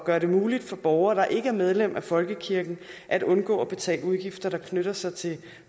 gøre det muligt for borgere der ikke er medlem af folkekirken at undgå at betale udgifter der knytter sig til